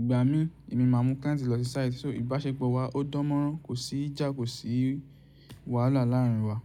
Ìgbà mí, èmi máa mú client lọ sí site. So ìbáṣepọ̀ wa ó dán mọ́rán, kò sí ìjà, kò sí wàhálà láàrin wa.